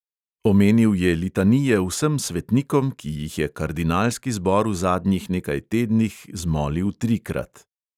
Omenil je litanije vsem svetnikom, ki jih je kardinalski zbor v zadnjih nekaj tednih zmolil trikrat.